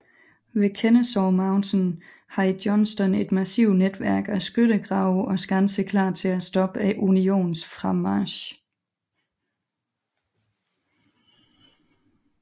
Ved Kennesaw Mountain havde Johnston et massivt netværk af skyttegrave og skanser klar til at stoppe Unionens fremmarch